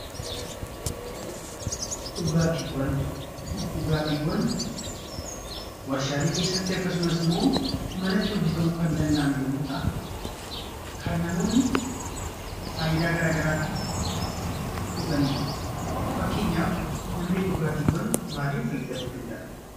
Dhugaatiiwwan warshaalee keessatti akkasumas immoo manatti hojjetamuu kan danda'an yommuu ta'an, kan namoonni faayidaa garaa garaatiif dhuganidha. Fakkeenyaaf namni dhugaatiiwwan maaliif fayyadamuu danda'a?